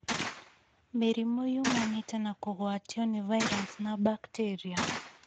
Mĩrimũ yumanĩte na kũgwatio nĩ virus na bacteria